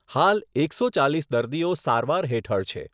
હાલ એકસો ચાલીસ દર્દીઓ સારવાર હેઠળ છે.